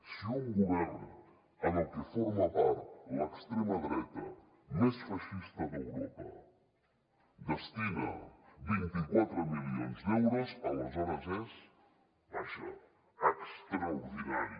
si un govern del qual forma part l’extrema dreta més feixista d’europa hi destina vint quatre milions d’euros aleshores és vaja extraordinari